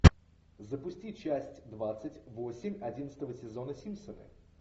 запусти часть двадцать восемь одиннадцатого сезона симпсоны